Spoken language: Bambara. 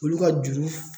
Olu ka juru